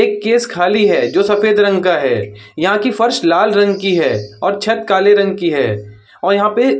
एक केस खाली है जो सफेद रंग का है। यहाँ की फर्श लाल रंग की है और छत काले रंग की है और यहाँ पे --